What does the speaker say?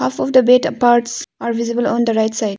Half of the bed parts are visible on the right side.